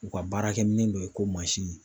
U ka baarakɛminɛ be ye ko mansin